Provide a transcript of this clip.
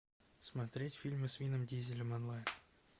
смотреть фильмы с вином дизелем онлайн